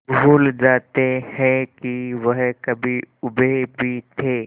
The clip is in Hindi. भूल जाते हैं कि वह कभी ऊबे भी थे